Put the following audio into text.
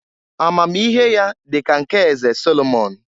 Amamihe ya dị ka nke eze Solomon.